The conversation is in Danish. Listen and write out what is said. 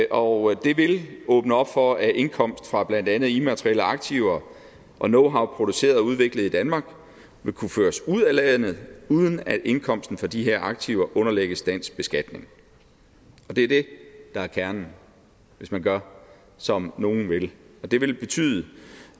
og det vil åbne op for at indkomst fra blandt andet immaterielle aktiver og knowhow produceret og udviklet i danmark vil kunne føres ud af landet uden at indkomsten for de her aktiver underlægges dansk beskatning det er det der er kernen hvis man gør som nogle vil og det vil betyde